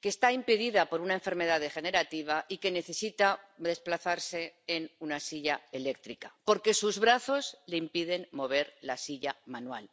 que está impedida por una enfermedad degenerativa y que necesita desplazarse en una silla eléctrica porque sus brazos le impiden mover la silla manual.